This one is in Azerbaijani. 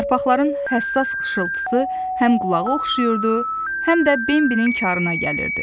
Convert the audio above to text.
Yarpaqların həssas xışıltısı həm qulağa oxşayırdı, həm də Bembinin karına gəlirdi.